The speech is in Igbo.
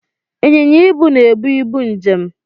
Ịnyịnya ibu na-ebu ibu njem